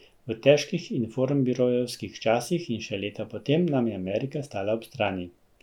V težkih informbirojevskih časih in še leta potem nam je Amerika stala ob strani.